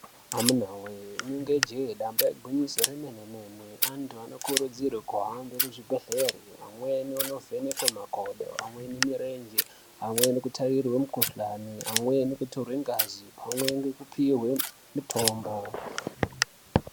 Amunawoye! rinenge njee damba igwinyiso remenemene antu anokurudzirwe kuhambe kuzvimbhehleya ,amweni onovhenekwe makodo, amweni mirenje, amweni kutarirwe mikuhlani, amweni kutorwe ngazi ,pamwe ngekupiwe mitombo.